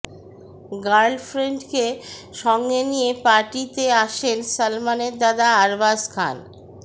গার্লফ্রেন্ডকে সঙ্গে নিয়ে পার্টিতে আসেন সলমনের দাদা আরবাজ খান